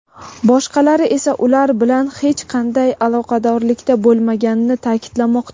boshqalari esa ular bilan hech qanday aloqadorlikda bo‘lmaganini ta’kidlamoqda.